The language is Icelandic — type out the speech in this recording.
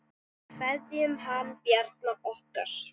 Við kveðjum hann Bjarna okkar.